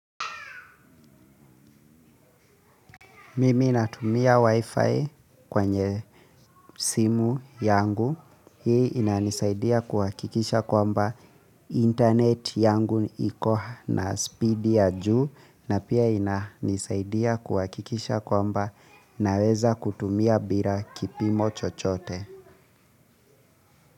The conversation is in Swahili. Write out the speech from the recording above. Mimi natumia wi-fi kwenye simu yangu. Hii ina nisaidia kuhakikisha kwamba internet yangu iko na speed ya juu na pia ina nisaidia kuhakikisha kwamba naweza kutumia bila kipimo chochote.